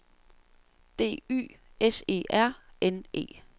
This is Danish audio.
D Y S E R N E